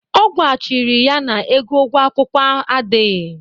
Ọ gwachiri ya na ego ụgwo akwụkwụ adịghị.